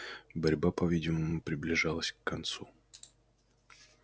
борьба по видимому приближалась к концу